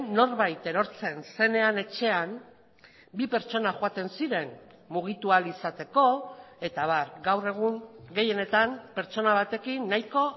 norbait erortzen zenean etxean bi pertsona joaten ziren mugitu ahal izateko eta abar gaur egun gehienetan pertsona batekin nahiko